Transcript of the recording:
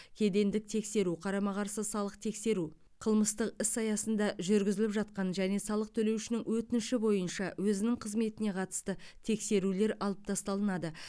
кедендік тексеру қарама қарсы салық тексеру қылмыстық іс аясында жүргізіліп жатқан және салық төлеушінің өтініші бойынша өзінің қызметіне қатысты тексерулер алып тасталынады